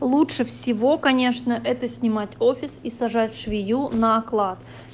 лучше всего конечно это снимать офис и сажать швею на оклад